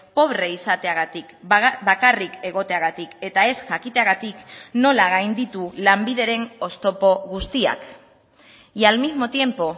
pobre izateagatik bakarrik egoteagatik eta ez jakiteagatik nola gainditu lanbideren oztopo guztiak y al mismo tiempo